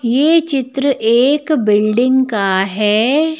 ये चित्र एक बिल्डिंग का है।